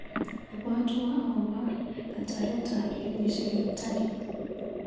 Ibwatwa akobo kataretap kenyisiek eng tai.